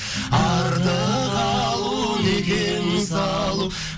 артық алу не кем салу